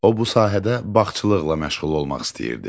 O bu sahədə bağçılıqla məşğul olmaq istəyirdi.